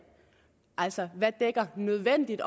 altså hvad nødvendigt